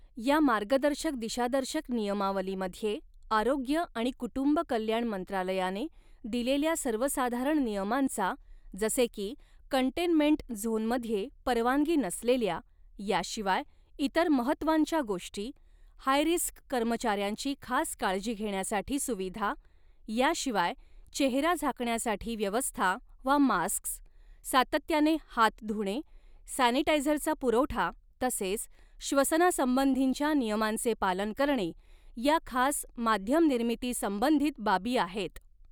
या मार्गदर्शक दिशादर्शक नियमावलीमध्ये आरोग्य आणि कुटुंब कल्याण मंत्रालयाने दिलेल्या सर्वसाधारण नियमांचा जसे की कंटेनमेंट झोनमध्ये परवानगी नसलेल्या, याशिवाय इतर महत्त्वांच्या गोष्टी, हायरिस्क कर्मचाऱ्यांची खास काळजी घेण्यासाठी सुविधा याशिवाय चेहरा झाकण्यासाठी व्यवस्था वा मास्क्स, सातत्याने हात धुणे, सॅनिटायझरचा पुरवठा तसेच श्वसनासंबंधींच्या नियमांचे पालन करणे या खास माध्य़मनिर्मिती संबधीत बाबी आहेत.